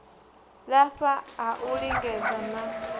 lafha ha u lingedza na